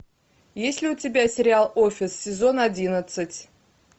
есть ли у тебя сериал офис сезон одиннадцать